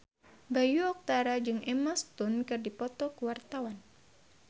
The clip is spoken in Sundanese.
Bayu Octara jeung Emma Stone keur dipoto ku wartawan